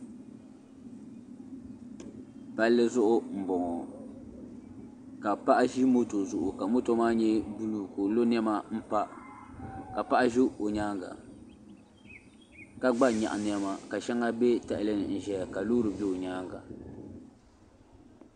Palli zuɣu n bɔŋo ka paɣa ʒi moto zuɣu ka moto maa nyɛ buluu ka o lo niɛma n pa ka paɣa ʒɛ o nyaanga ka gba nyaɣi niɛma ka shɛŋa bɛ tahali n ʒɛya ka loori bɛ o nyaanga.